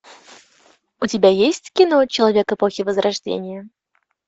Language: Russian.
у тебя есть кино человек эпохи возрождения